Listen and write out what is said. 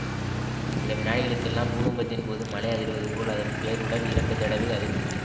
சில வினாடிகளுக்கெல்லாம் பூகம்பத்தின்போது மலை அதிர்வதுபோல் அதன் பேருடல் இரண்டு தடவை அதிர்ந்தது